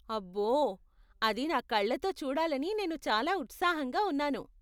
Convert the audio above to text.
అబ్బో! అది నా కళ్ళతో చూడాలని నేను చాలా ఉత్సాహంగా ఉన్నాను.